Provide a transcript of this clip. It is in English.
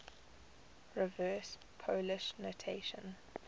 reverse polish notation